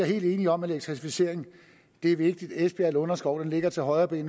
helt enige om at elektrificering er vigtig esbjerg lunderskov ligger til højrebenet